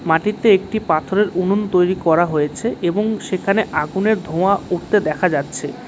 মাটিতে একটি পাথরের উনুন তৈরি করা হয়েছে এবং সেখানে আগুনের ধোঁয়া উঠতে দেখা যাচ্ছে।